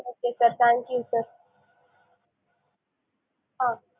okay sir thank you sir ah